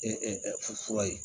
fura ye